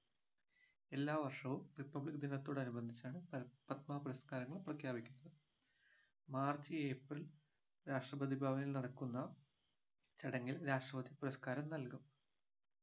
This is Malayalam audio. എല്ലാവർഷവും republic ദിനത്തോടനുബന്ധിച്ചാണ് പ പത്മ പുരസ്കാരങ്ങൾ പ്രഖ്യാപിക്കുക മാർച്ച് ഏപ്രിൽ രാഷ്ട്രപതി ഭവനിൽ നടക്കുന്ന ചടങ്ങിൽ രാഷ്ട്രപതി പുരസ്കാരം നൽകും